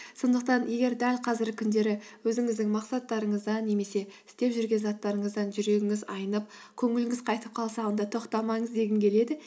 сондықтан егер дәл қазіргі күндері өзіңіздің мақсаттарыңыздан немесе істеп жүрген заттарыңыздан жүрегіңіз айнып көңіліңіз қайтып қалса онда тоқтамаңыз дегім келеді